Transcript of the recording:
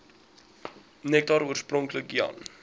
nektar oorspronklik jan